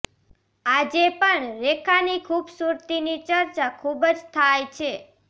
આજે પણ રેખાની ખુબસુરતીની ચર્ચા ખુબ જ થાય છે